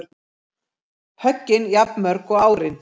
Höggin jafnmörg og árin